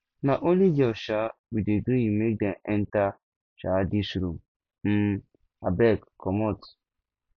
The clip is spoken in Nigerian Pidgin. na only girls um we dey gree make dem enta um dis room um abeg comot